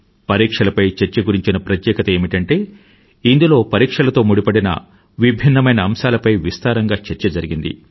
పరీక్షలపై చర్చ గురించిన ప్రత్యేకత ఏమిటంటే ఇందులో పరీక్షలతో ముడిపడిన విభిన్నమైన అంశాలపై విస్తారంగా చర్చ జరిగింది